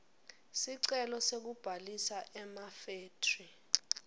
sicelo sekubhalisa emafethri